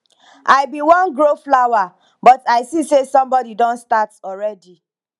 i bin wan grow flower but i see say somebody don start already